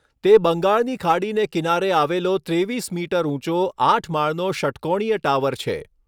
તે બંગાળની ખાડીને કિનારે આવેલો ત્રેવીસ મીટર ઊંચો આઠ માળનો ષટ્કોણિય ટાવર છે.